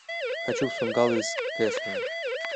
хочу в сунггал из кэсона